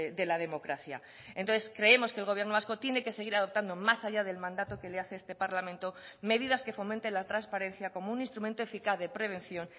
de la democracia entonces creemos que el gobierno vasco tiene que seguir adoptando más allá del mandato que le hace este parlamento medidas que fomenten la transparencia como un instrumento eficaz de prevención